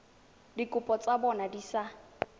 dikopo tsa bona di sa